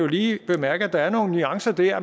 lige bemærke at der er nogle nuancer dér